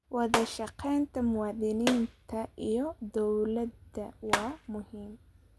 Wadashaqeynta muwaadiniinta iyo dowladda waa muhiim.